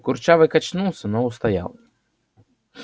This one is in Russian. курчавый качнулся но устоял